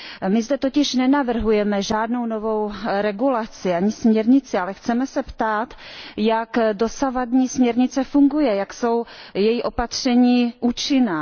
My zde totiž nenavrhujeme žádnou novou regulaci ani směrnici, ale chceme se ptát, jak dosavadní směrnice funguje, jak jsou její opatření účinná.